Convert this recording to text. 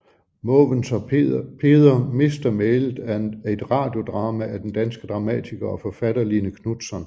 Måvens og Peder mister mælet er et radiodrama af den danske dramatiker og forfatter Line Knutzon